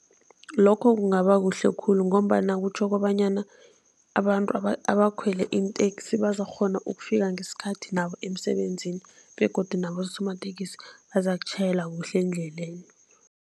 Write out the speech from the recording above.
Lokho kungaba kuhle khulu ngombana kutjho kobanyana abantu abakhwele iinteksi bazokukghona ukufika ngesikhathi nabo emisebenzini begodu nabosomatekisi bazakatjhayela kuhle endleleni.